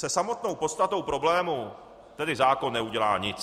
Se samotnou podstatou problému tedy zákon neudělá nic.